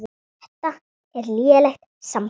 Þetta er lélegt samband